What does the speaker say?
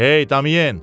Hey Damiyen!